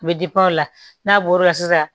U bɛ o la n'a bɔr'o la sisan